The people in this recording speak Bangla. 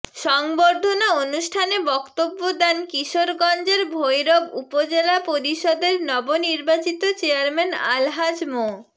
সংবর্ধনা অনুষ্ঠানে বক্তব্য দেন কিশোরগঞ্জের ভৈরব উপজেলা পরিষদের নবনির্বাচিত চেয়ারম্যান আলহাজ মো